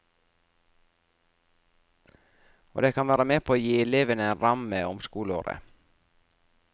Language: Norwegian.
Og det kan være med på å gi elevene en ramme om skoleåret.